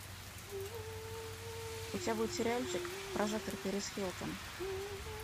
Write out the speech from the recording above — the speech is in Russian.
у тебя будет сериальчик прожектор пэрис хилтон